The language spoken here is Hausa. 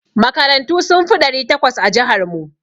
Makarantu sun fi ɗari takwas a jihar mu.